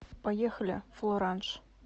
поехали флоранж